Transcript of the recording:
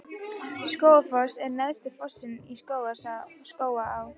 Skógafoss er neðsti fossinn í Skógaá.